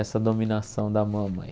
Essa dominação da mamãe.